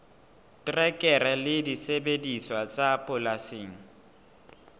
terekere le disebediswa tsa polasing